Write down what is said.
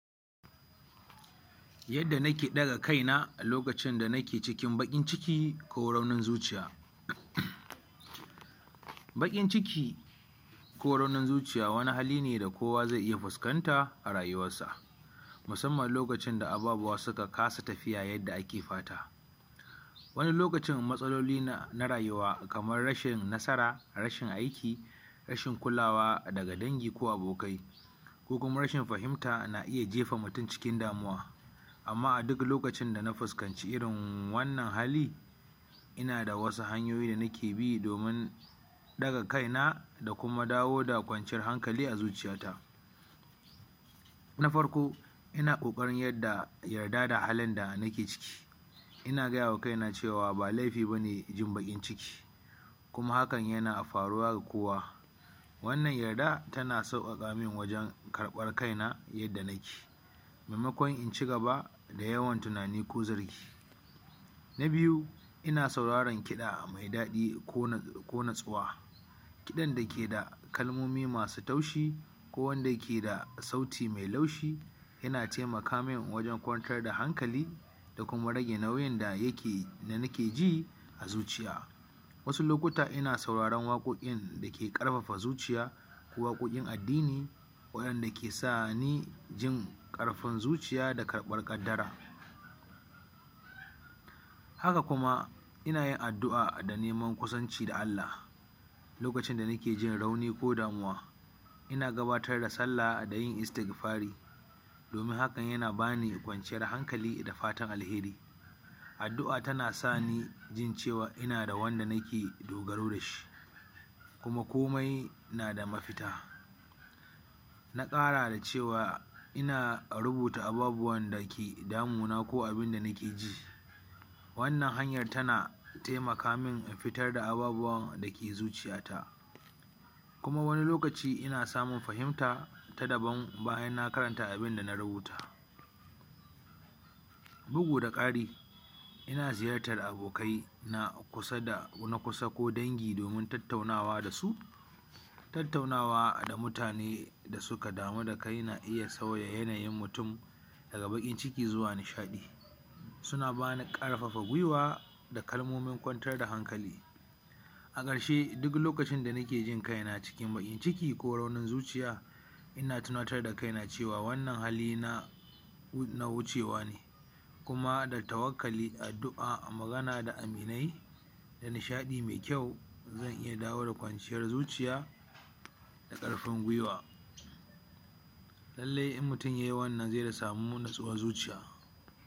Yadda nake ɗaga kaina a lokacin da nake cikin baƙin ciki ko raunin zuciya baƙin ciki ko raunin zuciya wani hali ne da kowa zai iya fuskanta a rayuwarsa, musamman lokacin da ababuwa suka kasa tafiya yadda ake fata wani lokacin matsalolina rayuwa kamar rashin nasara rashin aiki rashi kulawa daga dangi ko abokai ko kuma rashin fahimta na iya jefa mutum cikin damuwa, amma aduk lokacin da na fahimci wannan hali ina da wasu hanyoyi da nike bi domin ɗaga kaina da kuma dawo da kwanciyar hankali a zuciyata na farko ina ƙoƙarin yarda yarda da halin da nike ciki, ina koya wa kaina ba laifi ba ne jin baƙin ciki kuma hakan yana faruwa gda kowa wannan yarda tana sauƙaƙa min wajen karɓar kaina yadda nike maimakon in ci gaba da yawan tunani ko zargi na biyu ina sauraran kiɗa mai daɗi ko na ko natsuwa kiɗan da ke da kalmomi masu taushi ko wanda yake da sauti mai laushi yana taimaka min wajen kwantar da hankali da kuma rage nauyin da nike ji a zuciya. wasu lokutta ina sauraren waƙoƙin da ke ƙarfafa zuciya ko waƙoƙin addini waɗanda ke sani jin ƙarfin zuciya da karɓar ƙaddara haka kuma ina yin addu'a da neman kusanci ga Allah lokacin da nike jin rauni ko damuwa, ina gudanar da sallah da yin Istigfari domin hakan yana ba ni kwanciyar hankali da fatan alheri Addu'a tana sani jin cewa akwai wanda nike dogaro da shi kuma komai na da mafita na ƙara da cewa ina rubuta ababuwan da ke damuna ko abin da nike ji wannan hanyar tana taimaka min in fitar da ababuwan da ke zuciyata kuma wani lokaci ina samun fahimta ta dabam bayan na karanta a bun da na rubuta dugu da ƙari ina ziyartar abokaina na kusa da na kusa ko dangi domin tattaunawa da su tattaunawa da mutane da suka damu da kai na iya sauya yanayin mutum daga baƙin ciki zuwa nishaɗi suna ba ni ƙarfafa guiwa da kalmomi kwantar da hankali a ƙarshe duk lokacin da nike jin kaina cikin baƙin jiki ko raunin zuciya ina tunatar da kaina cewa wannan hali na wucewa ne kuma da tawalkkali addua da magana da aminai nishaɗi mai kyau zan iya dawo da kwanciyar zuciya da ƙarfin guiwa lallai in mutum yai wannan zai samu natsuwar zuciya.